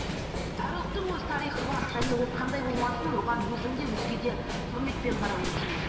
әр ұлттың өз тарихы бар және ол қандай болмасын оған өзің де өзге де құрметпен қарауы тиіс